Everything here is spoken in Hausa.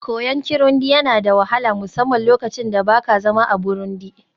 koyon Kirundi yana da wahala, musamman lokacin da ba ka zama a Burundi